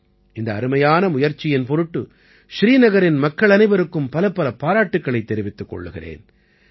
இந்த அருமையான முயற்சியின் பொருட்டு ஸ்ரீநகரின் மக்கள் அனைவருக்கும் பலப்பல பாராட்டுக்களைத் தெரிவித்துக் கொள்கிறேன்